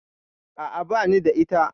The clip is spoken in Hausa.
A'a, bani da lafiya.